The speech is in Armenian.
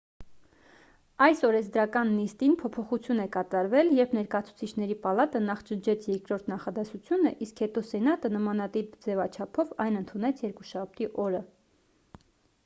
այս օրենսդրական նիստին փոփոխություն է կատարվել երբ ներկայացուցիչների պալատը նախ ջնջեց երկրորդ նախադասությունը իսկ հետո սենատը նամանտիպ ձևաչափով այն ընդունեց երկուշաբթի օրը